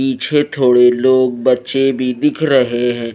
पीछे थोड़े लोग बच्चे भी दिख रहे हैं।